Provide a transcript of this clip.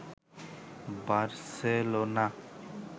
Barcelona